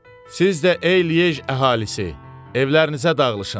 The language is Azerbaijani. Siz də ey Lyej əhalisi, evlərinizə dağılışın.